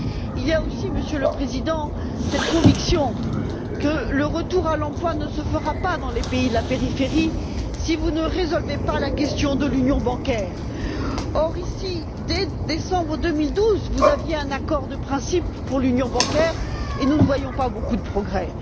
Il y a aussi, Monsieur le Président, cette conviction que le retour à l'emploi ne se fera pas dans les pays de la périphérie si vous ne résolvez pas la question de l'union bancaire, Or, ici, dès décembre 2012, vous aviez un accord de principe pour l'union bancaire, et nous ne voyons pas beaucoup de progrès.